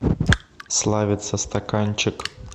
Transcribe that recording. славица стаканчик